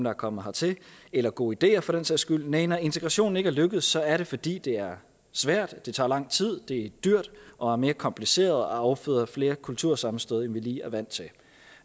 er kommet hertil eller gode ideer for den sags skyld næh når integrationen ikke er lykkedes er det fordi det er svært det tager lang tid det er dyrt og mere kompliceret og afføder flere kultursammenstød end vi lige er vant til